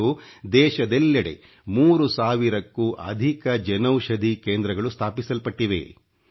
ಇಂದು ದೇಶದೆಲ್ಲೆಡೆ 3 ಸಾವಿರಕ್ಕೂ ಅಧಿಕ ಜನೌಷಧಿ ಕೇಂದ್ರಗಳು ಸ್ಥಾಪಿಸಲ್ಪಟ್ಟಿವೆ